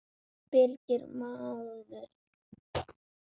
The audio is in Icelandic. Birgir mágur.